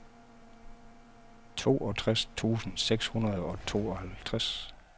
toogtres tusind seks hundrede og tooghalvtreds